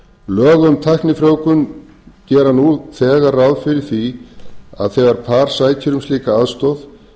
lög um tæknifrjóvgun gera nú þegar ráð fyrir því að þegar par sækir um slíka aðstoð